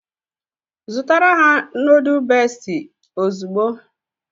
Zụtara ha nuduls Besti now!